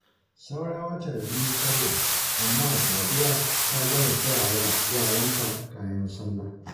Saura wata biyu sallah amma Sadiya ta gama saya wa yaranta kayan sallah